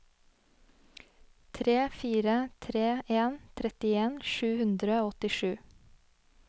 tre fire tre en trettien sju hundre og åttisju